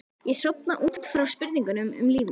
Ég sofna út frá spurningum um líf mitt.